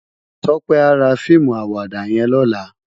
Tope à rá fiimú àwàdá yèn lòlá